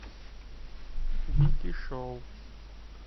вики шоу